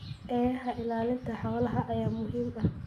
Eeyaha ilaalinta xoolaha ayaa muhiim ah.